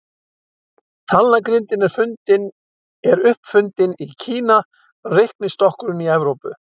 Talnagrindin er upp fundin í Kína, reiknistokkurinn í Evrópu.